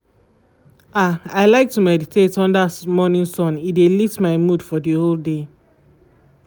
ah i like to meditate under morning sun e dey lift my mood for the whole day.